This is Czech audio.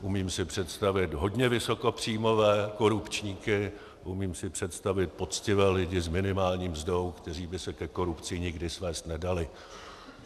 Umím si představit hodně vysokopříjmové korupčníky, umím si představit poctivé lidi s minimální mzdou, kteří by se ke korupci nikdy svést nedali.